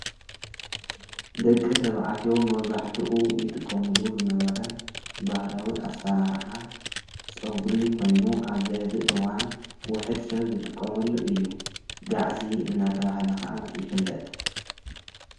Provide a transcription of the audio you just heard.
ደቂ ተብዕትዮ መብዛሕቲኡ ይጥቆሙሉ ዝነበረ ብሃላዊ ኣሠራርሓ ጸብሪ ኾይኑ ኣብ ዘኅዚ እዋን ውሑድ ሰብ ዝትቆመሉ እዩ ጋዕሲ እናተብሃለ ኸዓ ይፍለጥ ::